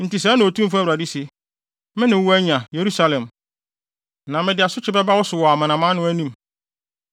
“Enti sɛɛ na Otumfo Awurade se: Me ne woanya, Yerusalem, na mede asotwe bɛba wo so wɔ amanaman no anim.